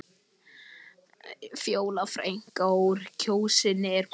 Fjóla frækna úr Kjósinni er komin.